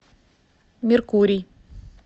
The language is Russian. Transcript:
меркурий